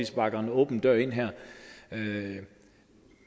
sparker en åben dør ind her